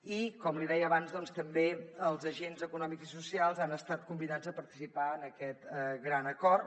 i com li deia abans doncs també els agents econòmics i socials han estat convidats a participar en aquest gran acord